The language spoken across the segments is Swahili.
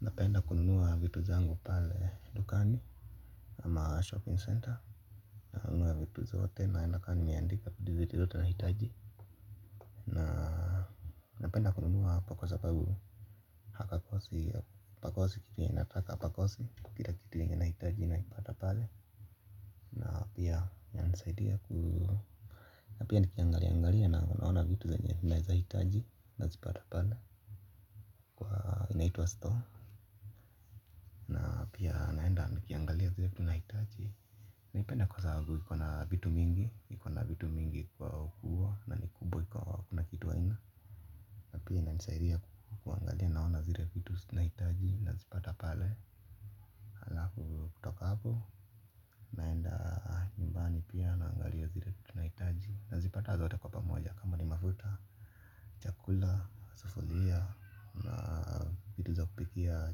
Napenda kununua vitu zangu pale dukani kama shopping centre nanunua vitu zote naenda kama nimeandika vitu vyote nahitaji. Na napenda kununua hapo kwa sababu hapakosi pakosi kitu yenye nataka pakosi kila kitu yenye nahitaji nakipata pale. Na pia inanisaidia ku na pia nikiangalia angalia naona vitu zenye naweza hitaji nazipata pale. Kwa inaitwa store. Na pia naenda nikiangalia zile vitu nahitaji. Naipenda kwa sababu ikona vitu mingi, ikona vitu mingi kwa kuwa na ni kubwa hakuna kitu haina. Na pia ina nisaidia kuangalia naona zile vitu nazihitaji, nazipata pale. Alafu kutoka hapo, naenda nyumbani pia naangalia zile nahitaji. Nazipata zote kwa pamoja kama ni mafuta, chakula, sufuria, na vitu za kupikia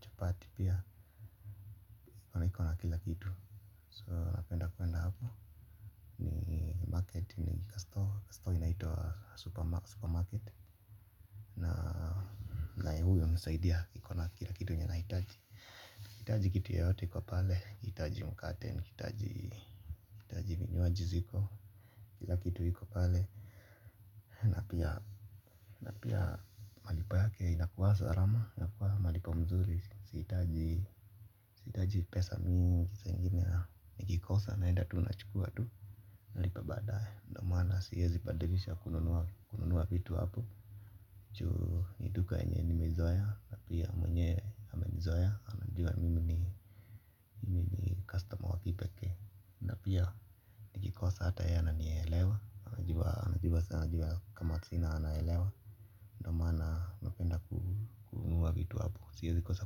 chapati pia. Naikona kila kitu, so napenda kuenda hapo Market ni kastore Kastore inaitwa super market. Na huu hunisaidia ikona kila kitu yenye nahitaji ukihitaji kitu yoyote iko pale nikihitaji mkate nikihitaji vinywaji ziko. Kila kitu iko pale na pia malipo yake inakuwa salama inakuwa malipo mzuri. Sihitaji pesa mingi. Nikikosa naenda tu na chukua tu. Nalipa baadaye ndo maana siwezi badilisha kununua. Kununua vitu hapo juu ni duka yenye nimezoea na pia mwenye amenizoea anajua mimi mimi ni customer wa kipekee na pia nikikosa ata yeye ananielewa anajua kama sina anaelewa ndo maana napenda kununua vitu hapo siwezi kosa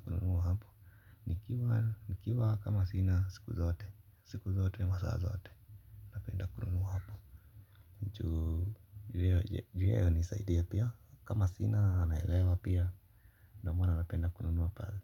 kununua hapo nikiwa siku zote siku zote masaa zote napenda kununua hapo juu yeye anisaidia pia kama sina anaelewa pia ndo maana napenda kununua pale.